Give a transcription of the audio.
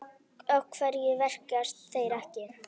Af hverju verkast þeir ekki?